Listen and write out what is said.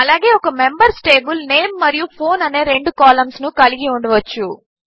అలాగే ఒక members table name మరియు ఫోన్ అనే రెండు కాలంస్ కలిగి ఉండవచ్చు